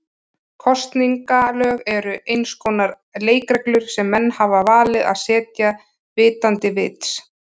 Kosningalög eru eins konar leikreglur sem menn hafa valið að setja vitandi vits.